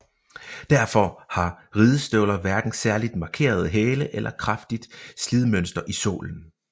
Derfor har ridestøvler hverken særligt markerede hæle eller kraftigt slidmønster i sålen